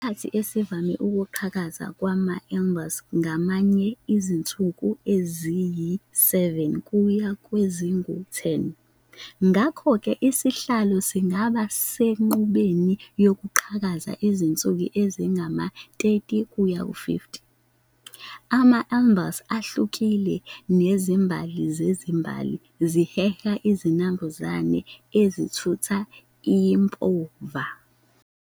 Isikhathi esivamile sokuqhakaza kwama-umbels ngamanye izinsuku eziyi-7 kuya kwezingu-10, ngakho-ke isitshalo singaba senqubeni yokuqhakaza izinsuku ezingama-30-50. Ama-umbels ahlukile nezimbali zezimbali ziheha izinambuzane ezithutha impova.